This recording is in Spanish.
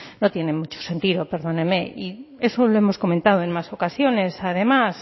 no tiene mucho sentido perdóneme y eso lo hemos comentado en más ocasiones además